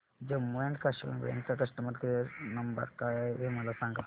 Jammu and Kashmir bank चा customer care number काय आहे हे मला सांगा